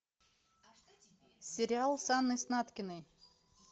сериал с анной снаткиной